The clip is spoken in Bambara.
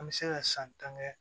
An bɛ se ka san tan kɛ